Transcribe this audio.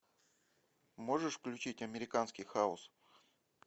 можешь включить американский хаос